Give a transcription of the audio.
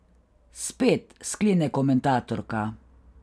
Spet, sklene komentatorka.